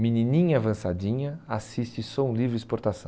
Menininha avançadinha, assiste Som Livre Exportação.